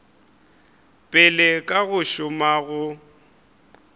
pele ka go šoma go